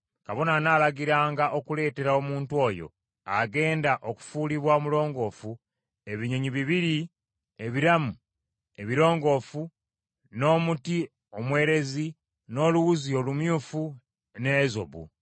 kabona anaalagiranga okuleetera omuntu oyo agenda okufuulibwa omulongoofu, ebinyonyi bibiri ebiramu ebirongoofu, n’omuti omwerezi, n’oluwuzi olumyufu, n’ezobu.